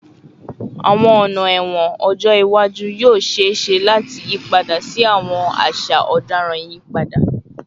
Awọn ọna ẹwọn ọjọ iwaju yoo ṣee ṣe lati yipada si awọn aṣa ọdaràn iyipada